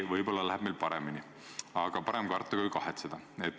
Võib-olla läheb meil paremini, aga parem karta kui kahetseda.